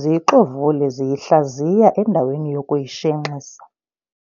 ziyixovule ziyihlaziya endaweni yokuyishenxisa.